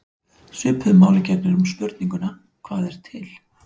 Svipuðu máli gegnir um spurninguna: Hvað er til?